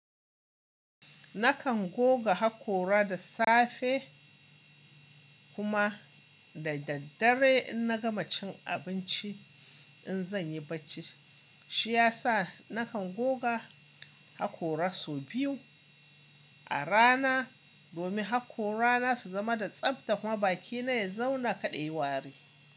Nakan goga hakora da safe kuma da daddare in na gama cin abinci in zan yi bacci. Shi ya sa nakan goga hakora sau biyu a rana domin hakoran na su zama da tsabta kuma bakina ya zauna kadai wari.